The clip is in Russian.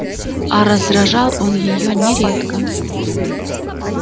а раздражал он её нередко